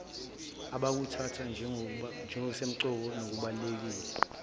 abakuthatha njengokusemqoka nokubalulekile